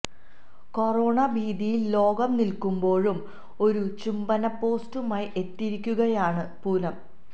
corona ഭീതിയില് ലോകം നില്ക്കുമ്പോഴും ഒരു ചുംബന പോസ്റ്റുമായി എത്തിയിരിക്കുകയാണ് പൂനം